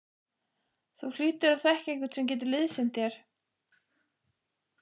Þú hlýtur að þekkja einhvern sem getur liðsinnt þér?